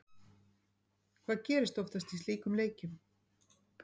Hvað gerist oftast í slíkum leikjum?